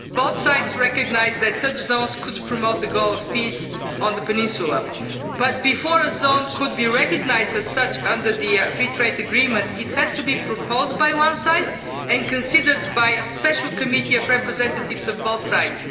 Both sides recognise that such zones could promote the goal of peace on the peninsula, but, before a zone can be recognised as such under the free trade agreement, it has to be proposed by one side and considered by a special committee of representatives of both sides.